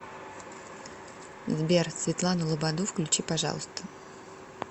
сбер светлану лободу включи пожалуйста